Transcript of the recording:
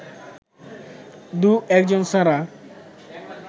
দু-একজন ছাড়া